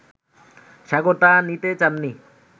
সাগর তা নিতে চাননি